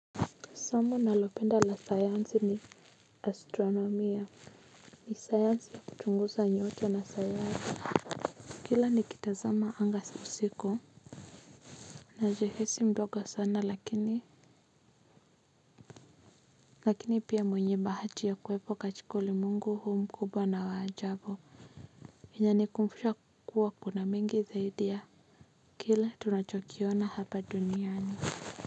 Somo nalopenda la sayansi ni astronomia ni sayansi ya kutunguza nyota na sayanai. Kila ni kitazama anga usiku. Najihisi mdogo sana lakini lakini pia mwenye bahati ya kuwepo katika ulimwengu huu mkubwa na wa ajabu inanikumbusha kuwa kuna mingi zaidi ya kila tunachokiona hapa duniani.